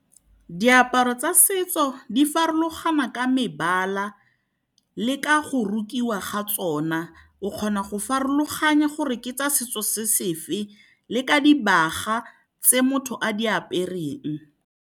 Diaparo tsa setso di farologana ka mebala le ka go rukiwa ga tsona. O kgona go farologana gore ke tsa setso se sefe le ka dibaga tse motho a di apereng.